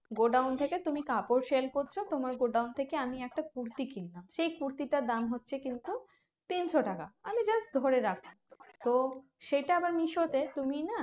Godown থেকে তুমি কাপড় sell করছো। তোমার godown থেকে আমি একটি কুর্তি কিনলাম। সেই কুর্তিটার দাম হচ্ছে কিন্তু তিনশো টাকা, আমি just ধরে রাখি। তো সেটা আবার মিশোতে তুমি না